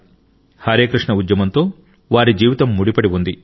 హరే కృష్ణ ఉద్యమంతో వారి జీవితం ముడిపడి ఉంది